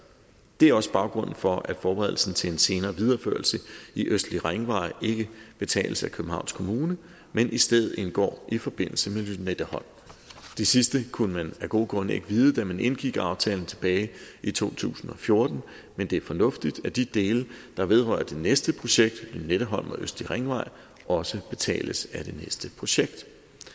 det er også baggrunden for at forberedelsen til en senere videreførsel i østlig ringvej ikke betales af københavns kommune men i stedet indgår i forbindelse med lynetteholm det sidste kunne man af gode grunde ikke vide da man indgik aftalen tilbage i to tusind og fjorten men det er fornuftigt at de dele der vedrører det næste projekt lynetteholm og østlig ringvej også betales af det næste projekt